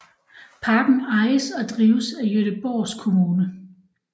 Parken ejes og drives af Göteborgs kommune